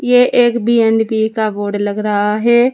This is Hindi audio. ये एक बी एंड बी का बोर्ड लग रहा है।